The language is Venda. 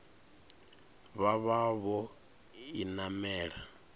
vha vha vho i namela